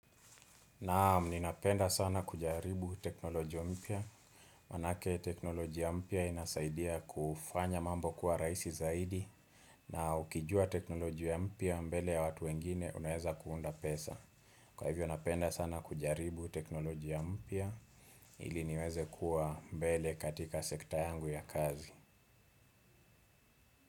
Naam, ninapenda sana kujaribu teknolojia mpya. Manake teknolojia mpya inasaidia kufanya mambo kuwa raisi zaidi. Na ukijua teknolojia mpya mbele ya watu wengine unaeza kuunda pesa. Kwa hivyo, napenda sana kujaribu teknolojia mpya. Ili niweze kuwa mbele katika sekta yangu ya kazi.